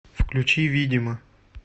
включи видимо